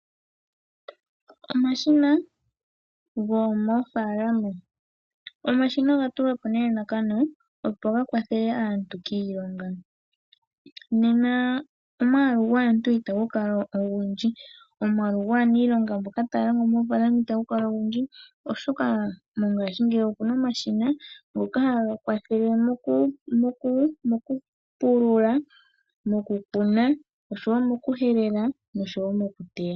Omashina gomoofaalama Omashina oga tulwa po nelalakano ga kwathele aantu kiilonga. Nena omwaalu gwaantu itagu kala ogundji, omwaalu gwaaniilonga mboka taya longo moofaalama itagu kala ogundji, oshoka mongashingeyi oku na omashina ngoka haga kwathele mokupulula, mokukuna, mokuhelela noshowo mokuteya.